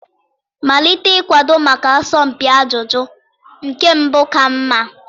Malite ịkwado maka asọmpi ajụjụ, nke mbụ ka mma.